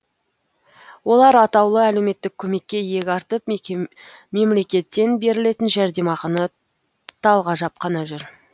олар атаулы әлеуметтік көмекке иек артып мемлекеттен берілетін жәрдемақыны талғажап қана жүр